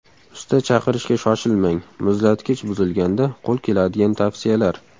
Usta chaqirishga shoshilmang: muzlatkich buzilganda qo‘l keladigan tavsiyalar.